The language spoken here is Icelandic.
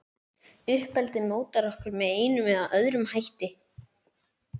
Uppeldið mótar okkur með einum eða öðrum hætti.